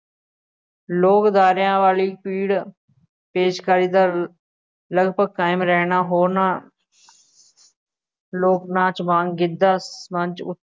ਲੋਕ ਅਦਾਰਿਆਂ ਵਾਲੀ ਪੀੜ ਪੇਸ਼ਕਾਰੀ ਦਾ ਲਗਭਗ ਕਾਇਮ ਰਹਿਣਾ ਹੋਰਨਾ ਲੋਕ ਨਾਚ ਵਾਂਗ ਗਿੱਧਾ ਮੰਚ ਉੱਤੇ